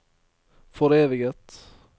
foreviget